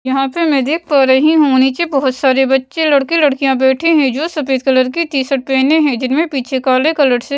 यहाँ पे मैं देख पा रही हूँ नीचे बहुत सारे बच्चे लड़के लड़कियाँ बैठे हैं जो सफेद कलर की टी शर्ट पहने हैं जिनमें पीछे काले कलर से --